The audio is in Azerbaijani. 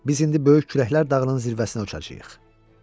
Biz indi böyük kürəklər dağının zirvəsinə uçacağıq.